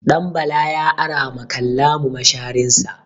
Ɗanbala ya ara ma Kallamu masharinsa.